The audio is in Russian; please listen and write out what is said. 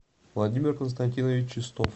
владимир константинович чистов